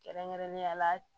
Kɛrɛnkɛrɛnnenya la